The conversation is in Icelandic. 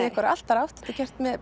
einhverja allt aðra átt þetta er gert með